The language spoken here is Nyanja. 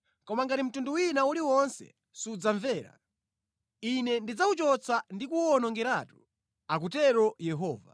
Koma ngati mtundu wina uliwonse sudzamvera, Ine ndidzawuchotsa ndi kuwuwonongeratu,” akutero Yehova.